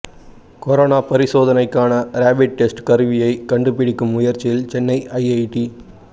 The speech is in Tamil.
கொரோனா பரிசோதனைக்கான ரேபிட் டெஸ்ட் கருவியை கண்டுபிடிக்கும் முயற்சியில் சென்னை ஐஐடி